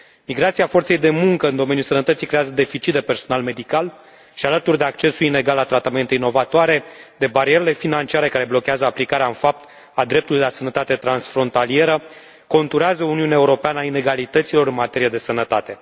Migrația forței de muncă în domeniul sănătății creează un deficit de personal medical și, alături de accesul inegal la tratamente inovatoare, de barierele financiare care blochează aplicarea în fapt a dreptului la sănătate transfrontalieră, conturează Uniunea Europeană a inegalităților în materie de sănătate.